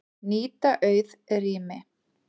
Nýta auð rými